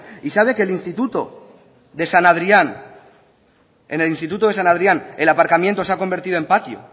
y sabe que el instituto de san adrián el aparcamiento se ha convertido en patio